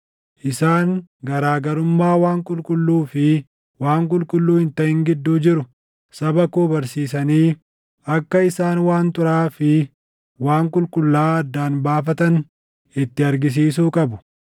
Isaan garaa garummaa waan qulqulluu fi waan qulqulluu hin taʼin gidduu jiru saba koo barsiisanii akka isaan waan xuraaʼaa fi waan qulqullaaʼaa addaan baafatan itti argisiisuu qabu.